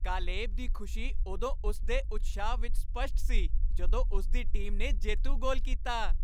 Caleb ਦੀ ਖੁਸ਼ੀ ਉਦੋਂ ਉਸ ਦੇ ਉਤਸ਼ਾਹ ਵਿੱਚ ਸਪੱਸ਼ਟ ਸੀ ਜਦੋਂ ਉਸ ਦੀ ਟੀਮ ਨੇ ਜੇਤੂ ਗੋਲ ਕੀਤਾ।